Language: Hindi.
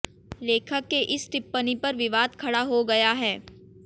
लेखक के इस टिप्पणी पर विवाद खड़ा हो गया है